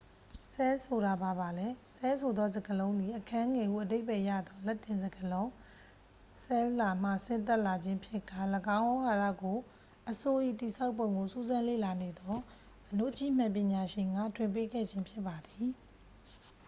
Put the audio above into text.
"ဆဲလ်ဆိုတာဘာပါလဲ။ ဆဲလ်ဆိုသောစကားလုံးသည် "အခန်းငယ်" ဟုအဓိပ္ပါယ်ရသော လက်တင်စကားလုံး "cella" မှ ဆင်းသက်လာခြင်းဖြစ်ကာ ၎င်းဝေါဟာရကို အဆို့၏တည်ဆောက်ပုံကိုစူးစမ်းလေ့လာနေသော အဏုကြည့်မှန်ပညာရှင်က ထွင်ပေးခဲ့ခြင်းဖြစ်ပါသည်။